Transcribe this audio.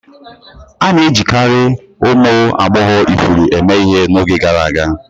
A na-ejikarị ụmụ agbọghọ ifuru eme ihe n'oge gara aga.